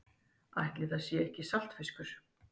Ætli það sé ekki saltfiskur.